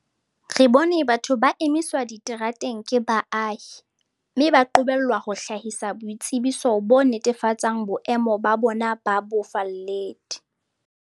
Re bone batho ba emiswa diterateng ke baahi, mme ba qobellwa ho hlahisa boitsebiso bo netefatsang boemo ba bona ba bofalledi.